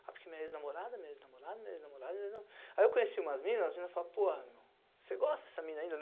Ah, porque minha ex-namorada, minha ex-namorada, minha ex-namorada... Aí eu conheci umas minas, as minas falaram, pô, você gosta dessa mina ainda?